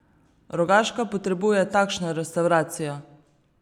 Rogaška potrebuje takšno restavracijo!